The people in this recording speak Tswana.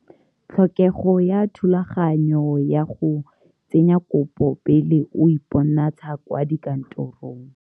Tlhokego ya thulaganyo ya go tsenya kopo pele o iponatsha kwa dikantorong.